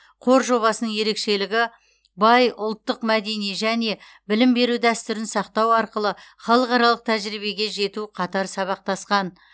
қор жобасының ерекшелігі бай ұлттық мәдени және білім беру дәстүрін сақтау арқылы халықаралық тәжірибеге жету қатар сабақтасқан